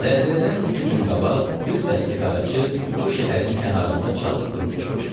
Zəlzələdən iki gün qabaq bir dəstə qaraçı bu şəhərin kənarında çadır qurub düşmüşdü.